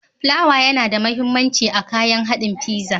Plawa yana da mahimmanci a kayan haɗin fiza.